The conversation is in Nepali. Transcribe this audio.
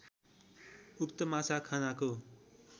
उक्त माछा खानाको